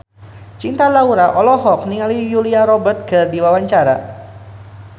Cinta Laura olohok ningali Julia Robert keur diwawancara